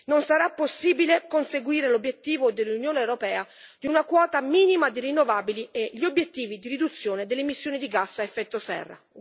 non sarà possibile conseguire l'obiettivo dell'Unione europea di una quota minima di rinnovabili e gli obiettivi di riduzione delle emissioni di gas a effetto serra.